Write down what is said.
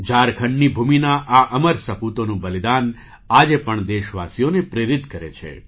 ઝારખંડની ભૂમિના આ અમર સપૂતોનું બલિદાન આજે પણ દેશવાસીઓને પ્રેરિત કરે છે